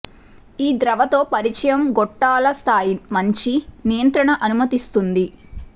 ఈ ద్రవ తో పరిచయం గొట్టాల స్థాయి మంచి నియంత్రణ అనుమతిస్తుంది